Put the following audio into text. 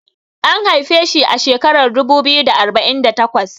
an haife shi a shekarar dubu biyu da arba'in da takwas